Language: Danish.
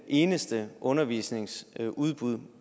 eneste undervisningstilbud